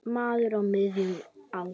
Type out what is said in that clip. Maður á miðjum aldri.